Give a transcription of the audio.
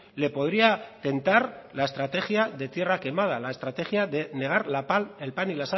le podría tentar la estrategia de tierra quemada la estrategia de negar el pan y